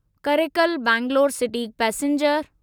Karikal Bangalore city passenger